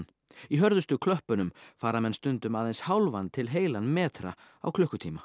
í hörðustu klöppunum fara menn stundum aðeins hálfan til heilan metra á klukkutíma